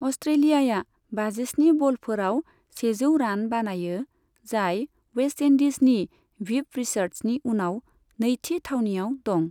अस्ट्रेलियाया बाजिस्नि बलफोराव सेजौ रान बानायो, जाय वेस्टइन्डिजनि भिभ रिचार्ड्सनि उनाव नैथि थावनियाव दं।